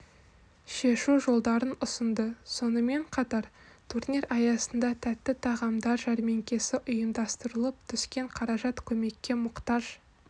шешу жолдарын ұсынды сонымен қатар турнир аясында тәтті тағамдарды жәрмекесі ұйымдастырылып түскен қаражат көмекке мұқтаж